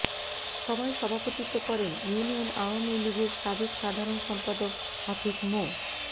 সভায় সভাপতিত্ব করেন ইউনিয়ন আওয়ামী লীগের সাবেক সাধারণ সম্পাদক হাফেজ মো